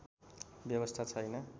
व्यवस्था छैन